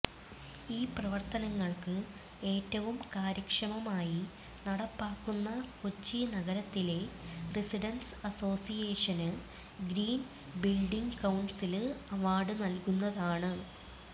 ഈ പ്രവര്ത്തനങ്ങള് ഏറ്റവും കാര്യക്ഷമമായി നടപ്പാക്കുന്ന കൊച്ചി നഗരത്തിലെ residents association green building council award നല്കുന്നതാണ്